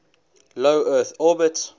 low earth orbit